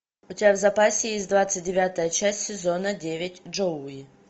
у тебя в запасе есть двадцать девятая часть сезона девять джоуи